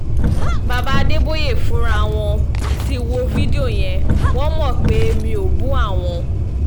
bàbá adébòye fúnra wọn ti wo fídíò yẹn wọ́n mọ̀ pé mi ò bú àwọn